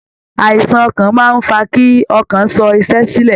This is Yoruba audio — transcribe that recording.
Àìsàn ọkàn máa ń fa kí ọkàn sọ iṣẹ́ sílẹ̀